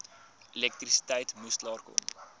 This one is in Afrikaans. elektrisiteit moes klaarkom